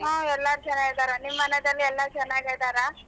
ಹು ಎಲ್ಲರೂ ಚೆನ್ನಾಗಿದಾರೆ ನಿಮ್ ಮನೆದಲ್ಲಿ ಎಲ್ಲ ಚೆನ್ನಾಗಿದ್ದರಾ?